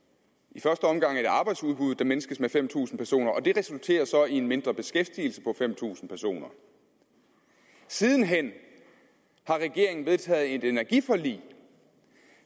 i første omgang et arbejdsudbud der mindskes med fem tusind personer og det resulterer så i en mindre beskæftigelse på fem tusind personer siden hen har regeringen vedtaget et energiforlig